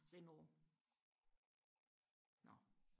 Renault nå